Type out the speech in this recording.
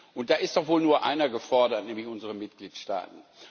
Und da ist doch wohl nur einer gefordert, nämlich unsere Mitgliedstaaten.